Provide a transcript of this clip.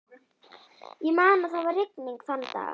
Ég man að það var rigning þann dag.